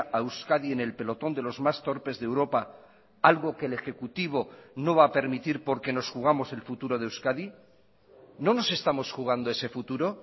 a euskadi en el pelotón de los más torpes de europa algo que el ejecutivo no va a permitir porque nos jugamos el futuro de euskadi no nos estamos jugando ese futuro